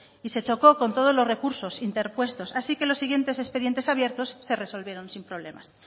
y se chocó con todos los recursos interpuestos así que lo siguientes expedientes abiertos se resolvieron sin problemas